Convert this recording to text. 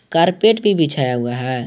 Carpet भी बिछाया हुआ है।